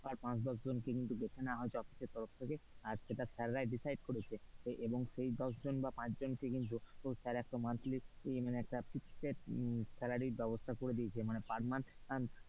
পাঁচ বা দশ জনকে বেছে নেওয়া হয়েছে অফিসের তরফ থেকে আর সেইটা স্যার রাই decide করেছে এবং সেই দশ জন বা পাঁচজন কে কিন্তু স্যার একটা monthly ই মানে fixed salary ব্যাবস্থা করে দিয়েছে।